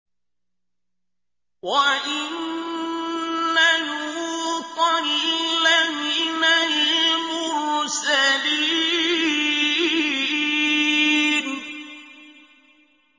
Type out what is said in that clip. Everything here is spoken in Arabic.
وَإِنَّ لُوطًا لَّمِنَ الْمُرْسَلِينَ